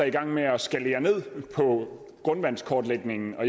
i gang med at skalere ned på grundvandskortlægningen og